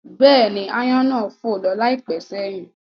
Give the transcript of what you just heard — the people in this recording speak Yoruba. Bẹ́ẹ̀ni, aáyán náà fò lọ láìpẹ́ sẹ́yìn